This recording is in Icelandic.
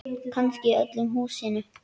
Kannski í öllu húsinu.